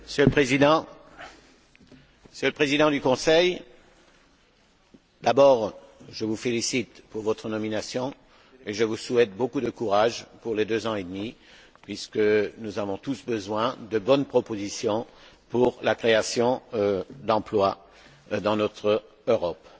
Monsieur le Président, Monsieur le Président du Conseil, d'abord, je vous félicite pour votre nomination et je vous souhaite beaucoup de courage pour les deux ans et demi, puisque nous avons tous besoin de bonnes propositions pour la création d'emplois dans notre Europe.